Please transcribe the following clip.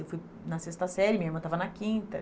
Eu fui na sexta série, minha irmã estava na quinta.